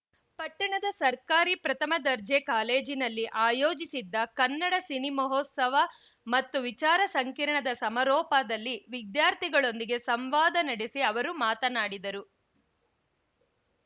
ಪಟ್ಟಣದ ಸರ್ಕಾರಿ ಪ್ರಥಮ ದರ್ಜೆ ಕಾಲೇಜಿನಲ್ಲಿ ಆಯೋಜಿಸಿದ್ದ ಕನ್ನಡ ಸಿನಿಮಹೋತ್ಸವ ಮತ್ತು ವಿಚಾರ ಸಂಕಿರಣದ ಸಮಾರೋಪದಲ್ಲಿ ವಿದ್ಯಾರ್ಥಿಗಳೊಂದಿಗೆ ಸಂವಾದ ನಡೆಸಿ ಅವರು ಮಾತನಾಡಿದರು